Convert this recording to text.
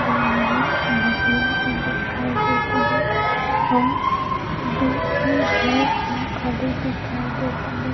दे मेरन नदिया ह दिखाई देत हवे आऊ दू ठो भैस ह खड़े दिखाई देत हवे--